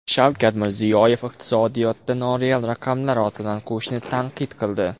Shavkat Mirziyoyev iqtisodiyotda noreal raqamlar ortidan quvishni tanqid qildi.